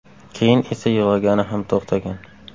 Keyin esa yig‘lagani ham to‘xtagan.